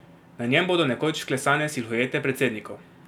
Na njem bodo nekoč vklesane silhuete predsednikov...